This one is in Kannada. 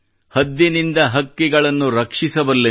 ಹದ್ದಿನಿಂದ ಹಕ್ಕಿಗಳನ್ನು ರಕ್ಷಿಸಬಲ್ಲೆನು